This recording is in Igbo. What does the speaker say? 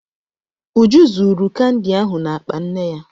Uju zuuru kandi ahụ n'akpa nne ya.